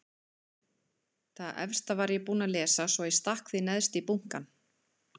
Það efsta var ég búin að lesa svo ég stakk því neðst í bunkann.